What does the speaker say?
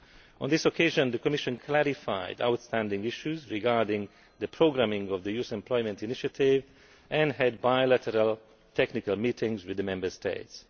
On this occasion, the Commission clarified outstanding issues regarding the programming of the Youth Employment Initiative and had bilateral technical meetings with the Member States.